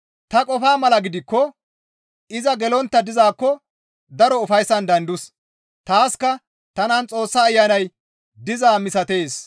Ta qofa mala gidikko iza gelontta dizaakko daro ufayssan de7andus; taaska tanan Xoossa Ayanay dizaa misatees.